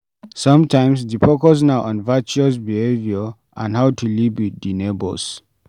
Sometimes, di focus na on virtuous behavior and how to live with di neigbours